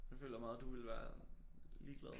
Jeg føler meget du ville være ligeglad